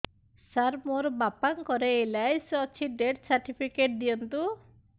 ସାର ମୋର ବାପା ଙ୍କର ଏଲ.ଆଇ.ସି ଅଛି ଡେଥ ସର୍ଟିଫିକେଟ ଦିଅନ୍ତୁ